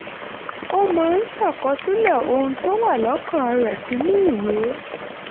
ó máa ń ṣàkọsílẹ̀ ohun tó wà lọ́kàn rẹ̀ sínú ìwé